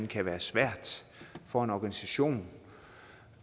kan være svært for en organisation